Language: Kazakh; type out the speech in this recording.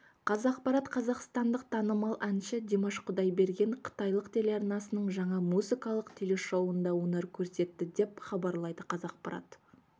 қазақпарат қазақстандық танымал әнші димаш құдайберген қытайлық телеарнасының жаңа музыкалық телешоуында өнер көрсетті деп хабарлайды қазақпарат